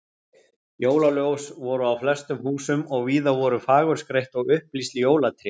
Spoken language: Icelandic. Jólaljós voru á flestum húsum og víða voru fagurskreytt og upplýst jólatré.